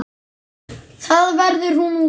Þar verði hún óhult.